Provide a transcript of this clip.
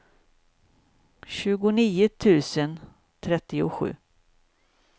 tjugonio tusen trettiosju